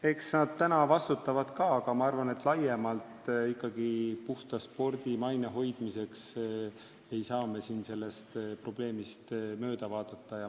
Eks nad praegu vastutavad ka, aga ma arvan, et laiemalt puhta spordi maine hoidmiseks ei saa me sellest probleemist ikkagi mööda vaadata.